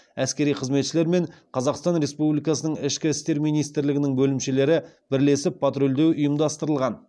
әскери қызметшілер мен қазақстан республикасының ішкі істер министрлігінің бөлімшелері бірлесіп патрульдеу ұйымдастырылған